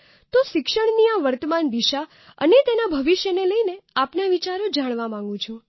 તો શિક્ષણની આ વર્તમાન દિશા અને તેના ભવિષ્યને લઈને આપના વિચારો જાણવા માંગુ છુ